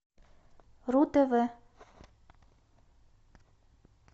ру тв